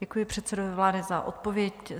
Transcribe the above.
Děkuji předsedovi vlády za odpověď.